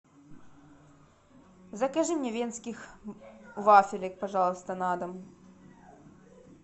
закажи мне венских вафелек пожалуйста на дом